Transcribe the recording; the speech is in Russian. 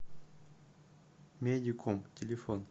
медиком телефон